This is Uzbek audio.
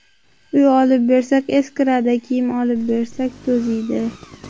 Uy olib bersak eskiradi, kiyim olib bersak to‘ziydi.